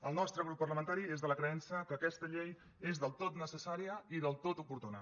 el nostre grup parlamentari és de la creença que aquesta llei és del tot necessària i del tot oportuna